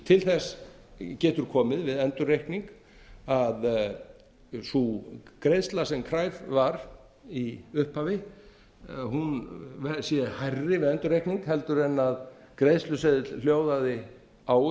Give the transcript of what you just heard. til þess getur komið við endurreikning að sú greiðsla sem kræf var í upphafi hún sé hærri við endurreikning heldur en greiðsluseðill hljóðaði á